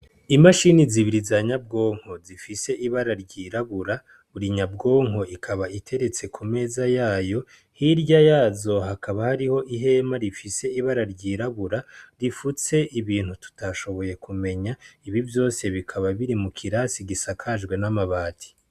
Imashini zibiri zanyabwonko zifis'ibara ryirabura, buri nyabwonko ikaba iteretse ku meza yayo hirya yayo hakaba hari ihema rifise ibara ryirabura, rifutse ibintu tutashiboye kumenya, ivyo vyose bikaba biri mu kirasi gisakajwe n'amabati.